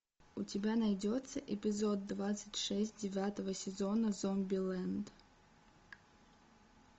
у тебя найдется эпизод двадцать шесть девятого сезона зомбилэнд